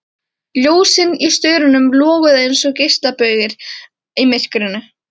Ljósin í staurunum loguðu einsog geislabaugar í myrkrinu.